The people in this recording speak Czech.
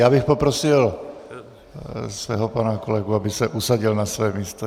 Já bych poprosil svého pana kolegu, aby se usadil na své místo.